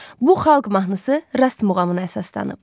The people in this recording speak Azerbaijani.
Bu Xalq mahnısı Rast muğamına əsaslanıb.